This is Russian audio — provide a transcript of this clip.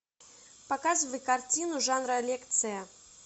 показывай картину жанра лекция